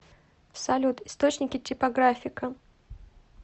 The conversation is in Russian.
салют источники типографика